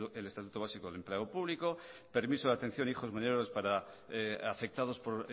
del estatuto básico del empleado público permiso de atención de hijos menores afectados por